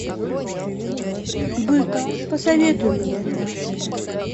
бык посоветуй мне